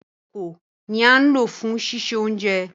Ìkòko ni à n lo fùn ṣiṣe ounjẹ.